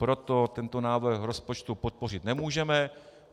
Proto tento návrhu rozpočtu podpořit nemůžeme.